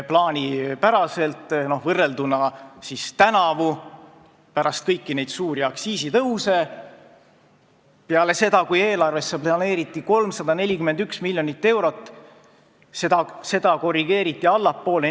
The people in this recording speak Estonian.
Võrdleme tänavuse olukorraga, kui pärast kõiki neid suuri aktsiisitõuse, peale seda, kui eelarvesse oli planeeritud 341 miljonit eurot, seda korrigeeriti neli korda allapoole.